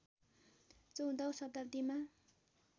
१४ औं शताब्दीमा